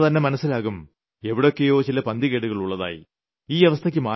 ഇതിൽ നിന്നു തന്നെ മനസ്സിലാകും എവിടെയൊക്കെയോ ചില പന്തികേടുകൾ ഉള്ളതായി